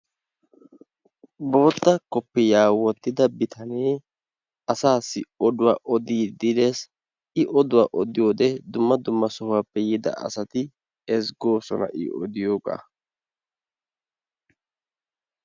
Bootta kopiyiyaa wottida bitanee asassi oduwaa odide de'ess. I oduwaa odiyoode dumma dumma sohuwappe yiida asati ezggosona I odiyoogaa.